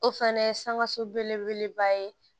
O fɛnɛ ye sankaso belebeleba ye